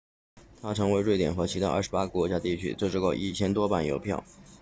他曾为瑞典和其他28个国家地区制作过1000多版邮票